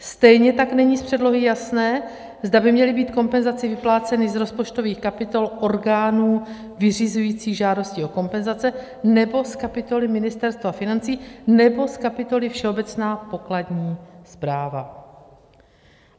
Stejně tak není z předlohy jasné, zda by měly být kompenzace vypláceny z rozpočtových kapitol orgánů vyřizujících žádosti o kompenzace, nebo z kapitoly Ministerstva financí, nebo z kapitoly Všeobecná pokladní správa.